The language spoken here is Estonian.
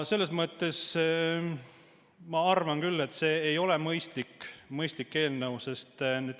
Selles mõttes ma arvan küll, et see ei ole mõistlik eelnõu.